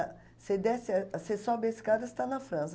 você desce a, você sobe a escada, você está na França.